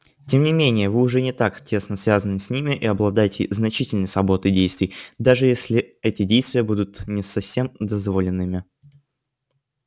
тем не менее вы уже не так тесно связаны с ними и обладаете значительной свободой действий даже если эти действия будут не совсем дозволенными